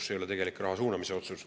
See ei ole tegelik raha suunamise otsus.